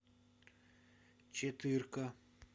четырка